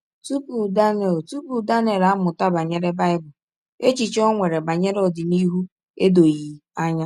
Tupu Daniel Tupu Daniel amụta banyere Bible, echiche o nwere banyere ọdịnihu edoghị anya.